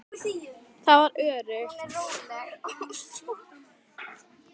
Það var öruggt.